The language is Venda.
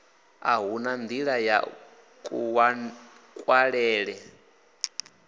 a huna ṋdila ya kuṅwalele